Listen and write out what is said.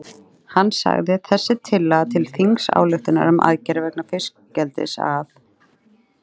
Hann sagði: Þessi tillaga til þingsályktunar um aðgerðir vegna fiskeldis að